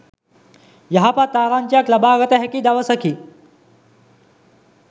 යහපත් ආරංචියක් ලබාගත හැකි දවසකි